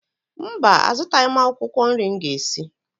Mba, azụtaghị m akwụkwọ nri m ga-esi